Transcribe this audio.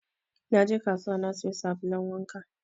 Na je kasuwa na sayo labulen wanka